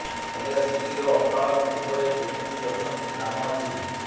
ହେଲେ ସ୍ତ୍ରୀର ଅକାଳ ମୃତ୍ୟୁ ପରେ କେମିତି ଅଛନ୍ତି ଦାନ ମାଝି